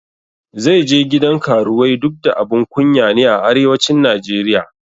Zai je gidan karuwai duk da abun kunya ne a arewacin Najeriya